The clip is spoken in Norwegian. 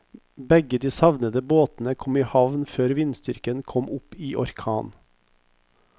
Begge de savnede båtene kom i havn før vindstyrken kom opp i orkan.